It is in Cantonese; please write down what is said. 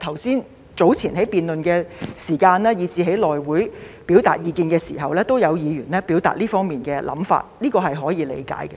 早前在辯論時間，以及在內會表達意見時，也有議員表達這方面的想法，這是可以理解的。